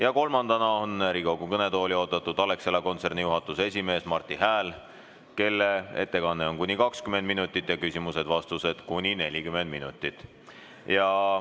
Ja kolmandana on Riigikogu kõnetooli oodatud Alexela kontserni juhatuse esimees Marti Hääl, kelle ettekanne on kuni 20 minutit ja küsimused-vastused kuni 40 minutit.